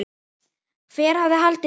Hver hefði haldið það?